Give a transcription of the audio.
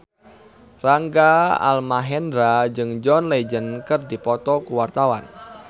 Rangga Almahendra jeung John Legend keur dipoto ku wartawan